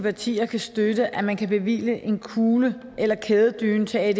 partier kan støtte at man kan bevilge en kugledyne eller en kædedyne til